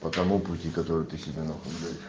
по тому пути который ты себе нахуй блять